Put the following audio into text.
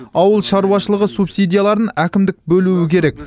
ауыл шаруашылығы субсидияларын әкімдік бөлуі керек